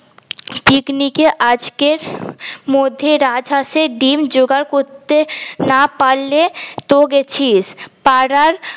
পিকনিকে আজকে মধ্যে রাজ হাসের ডিম জোগাড় করতে না পারলে তো গেছিস পারার